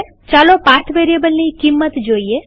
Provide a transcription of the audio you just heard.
ચાલો પાથ વેરીએબલની કિંમત જોઈએ